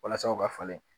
Walasa u ka falen